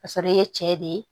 Ka sɔrɔ i ye cɛ de ye